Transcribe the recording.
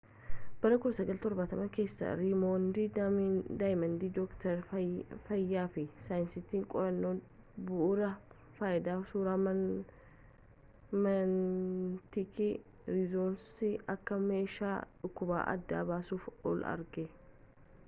bara 1970 keessa reeymond damadiyaan doktarii fayyaa fi saayintisiin qorannoo bu'uura fayyadama suuraa magneetik rizonansii akka meeshaa dhukkuba adda baasuuf oolu argate